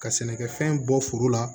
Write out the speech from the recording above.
Ka sɛnɛkɛfɛn bɔ foro la